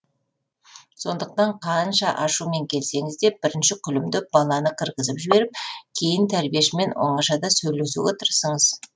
сондықтан қанша ашумен келсеңіз де бірінші күлімдеп баланы кіргізіп жіберіп кейін тәрбиешімен оңашада сөйлесуге тырысыңыз